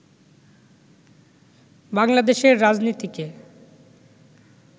বাংলাদেশের রাজনীতিকে